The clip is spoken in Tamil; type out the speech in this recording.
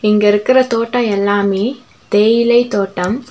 இங்க இருக்குற தோட்ட எல்லாமே தேயிலை தோட்டம்.